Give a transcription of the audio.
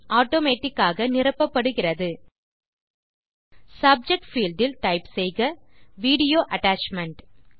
automatic ஆக நிரப்பப்படுகிறது subject field இல் டைப் செய்க வீடியோ அட்டாச்மென்ட்